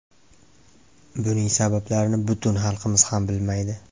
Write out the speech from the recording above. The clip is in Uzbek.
Buning sabablarini butun xalqimiz ham bilmaydi.